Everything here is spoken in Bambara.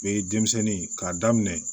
Be denmisɛnnin k'a daminɛ